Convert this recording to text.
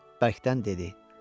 Bərkdən dedi: